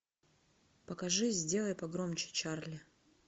покажи сделай погромче чарли